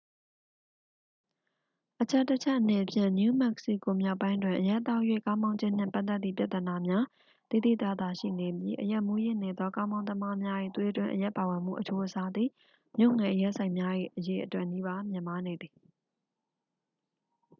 အချက်တစ်ချက်အနေဖြင့် နယူးမက္ကဆီကို မြောက်ပိုင်းတွင် အရက်သောက်၍ ကားမောင်ခြင်းနှင့် ပတ်သက်သည့် ပြဿနာများ သိသိသာသာရှိနေပြီး အရက်မူးယစ်နေသော ကားမောင်းသမားများ၏ သွေးတွင်းအရက်ပါဝင်မှုအချိုးအစားသည် မြို့ငယ်အရက်ဆိုင်များ၏ အရေအတွက်နီးနီး မြင့်မားနေသည်